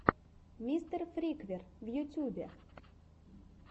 мистер фриквер в ютубе